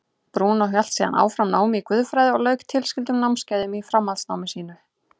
Brúnó hélt síðan áfram námi í guðfræði og lauk tilskildum námskeiðum í framhaldsnámi sínu.